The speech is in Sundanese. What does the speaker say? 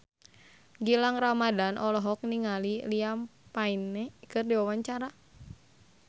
Gilang Ramadan olohok ningali Liam Payne keur diwawancara